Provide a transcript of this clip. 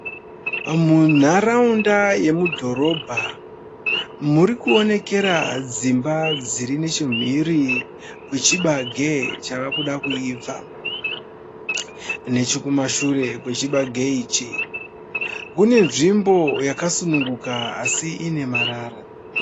Munharaunda yemudhorobha muri kuonekera dzimba dziri nechemhiri kwechibage chava kuda kuibva. Nechokumashure kwechibage ichi, kune nzvimbo yakasununguka asi ine marara.